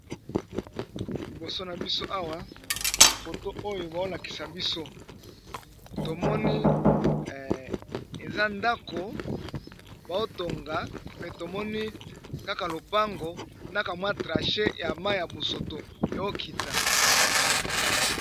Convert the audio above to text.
liboso na biso awa foto oyo baolakisa biso tomoni eza ndako baotonga mpe tomoni kaka lopango nakamwa trache ya ma ya bosoto eokita